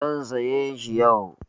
Zan sayi shi yau.